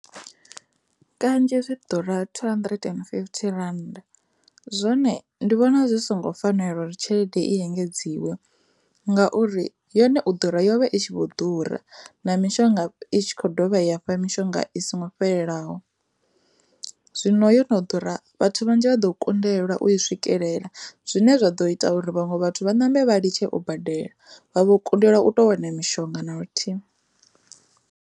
Kanzhi zwi ḓura two hundred and fifty rand zwone ndi vhona zwi songo fanela uri tshelede i engedziwa ngauri yone u ḓura yovha i tshi vho ḓura na mishonga i khou dovha ya mishonga i songo fhelelaho, zwino yo no ḓura vhathu vhanzhi vha ḓo kundelwa u i swikelela zwine zwa ḓo ita uri vhaṅwe vhathu vha ṋambe vha litshe o badela vha vho kundelwa u tou wana mishonga na luthihi.